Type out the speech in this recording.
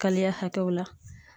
Kaliya hakɛw la.